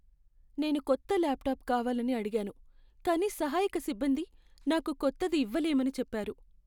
నేను కొత్త ల్యాప్టాప్ కావాలని అడిగాను, కానీ సహాయక సిబ్బంది నాకు కొత్తది ఇవ్వలేమని చెప్పారు.